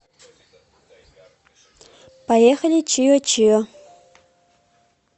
поехали чио чио